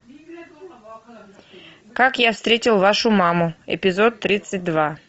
как я встретил вашу маму эпизод тридцать два